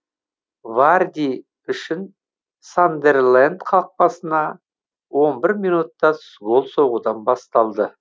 варди үшін сандерленд қақпасыңа он бір минутта гол соғудан басталды